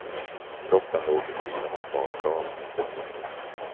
Kroppen låg vid sidan av badkaret.